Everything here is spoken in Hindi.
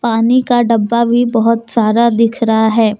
पानी का डब्बा भी बहुत सारा दिख रहा है।